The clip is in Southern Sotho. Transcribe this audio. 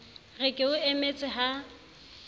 re ke o emetse ha